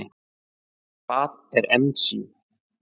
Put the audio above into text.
Hvað er ensím?